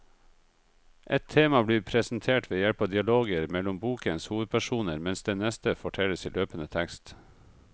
Ett tema blir presentert ved hjelp av dialoger mellom bokens hovedpersoner, mens det neste fortelles i løpende tekst.